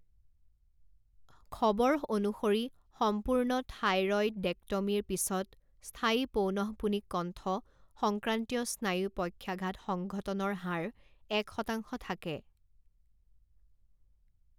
খবৰ অনুসৰি সম্পূৰ্ণ থাইৰয়ডেক্টমীৰ পিছত স্থায়ী পৌনঃপুনিক কণ্ঠ সংক্ৰান্তীয় স্নায়ু পক্ষাঘাত সংঘটনৰ হাৰ এক শতাংশ থাকে।